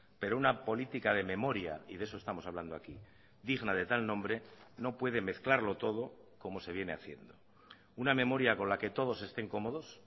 pero una política de memoria y de eso estamos hablando aquí digna de tal nombre no puede mezclarlo todo como se viene haciendo una memoria con la que todos estén cómodos